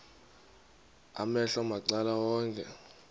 amehlo macala onke